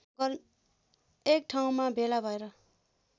एकठाउँमा भेला भएर